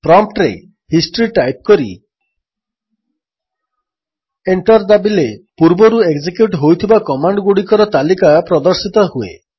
ପ୍ରମ୍ପ୍ଟରେ history type କରି enter ଦାବିଲେ ପୂର୍ବରୁ ଏକ୍ଜେକ୍ୟୁଟ୍ ହୋଇଥିବା କମାଣ୍ଡଗୁଡ଼ିକର ତାଲିକା ପ୍ରଦର୍ଶିତ ହୁଏ